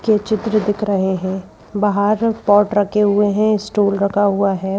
के चित्र दिख रहे हैं बाहर पॉट रखे हुए हैं स्टूल रखा हुआ है।